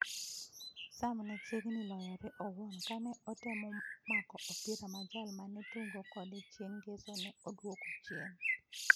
Sam ne chiegni loyore owuon kane otemo mako opira ma jal ma ne tugo kode chieng ' Ngeso ne odwoko chien.